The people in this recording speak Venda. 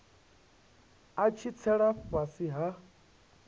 a tshi tsela fhasi ha